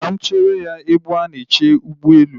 Ka mụ chere ya ebe a na-eche ụgbọelu